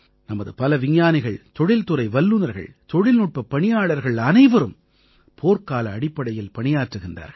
நமது பல விஞ்ஞானிகள் தொழில்துறை வல்லுநர்கள் தொழில்நுட்பப் பணியாளர்கள் அனைவரும் போர்க்கால அடிப்படையில் பணியாற்றுகிறார்கள்